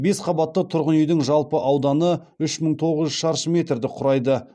бес қабатты тұрғын үйдің жалпы ауданы үш мың тоғыз жүз шаршы метрді құрайды